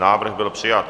Návrh byl přijat.